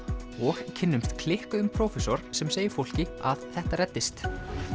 og kynnumst klikkuðum prófessor sem segir fólki að þetta reddist